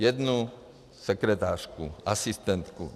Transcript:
Jednu sekretářku, asistentku.